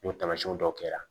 N'o taamasiyɛn dɔw kɛra